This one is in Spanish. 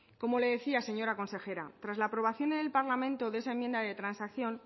como le decía señora consejera tras la aprobación en el parlamento de esa enmienda de transacción